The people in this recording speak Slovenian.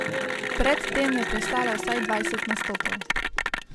Pred tem je prestala vsaj dvajset nastopov.